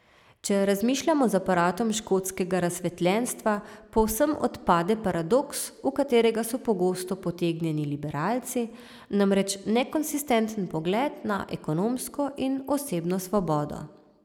Če razmišljamo z aparatom škotskega razsvetljenstva, povsem odpade paradoks, v katerega so pogosto potegnjeni liberalci, namreč nekonsistenten pogled na ekonomsko in osebno svobodo.